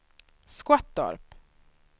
Skottorp